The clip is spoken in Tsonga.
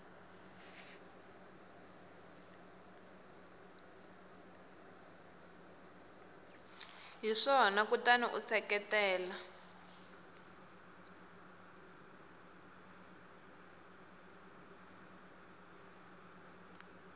hi swona kutani u seketela